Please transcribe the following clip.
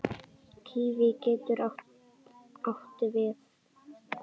Kíví getur átti við